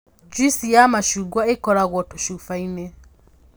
Njuici ya macungwa ĩkagĩrwo tũcuba-inĩ